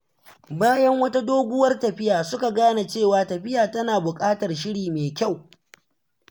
Bayan wata doguwar tafiya, suka gane cewa tafiya tana buƙatar shiri mai kyau.